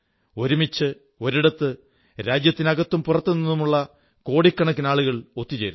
ഒരുമിച്ച് ഒരിടത്ത് രാജ്യത്തിനകത്തും പുറത്തും നിന്നുള്ള കോടിക്കണക്കിന് ആളുകൾ ഒത്തു ചേരുന്നു